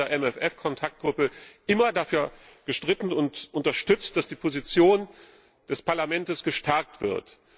Ich habe in der MFF Kontaktgruppe immer dafür gestritten und unterstützt, dass die Position des Parlaments gestärkt wird.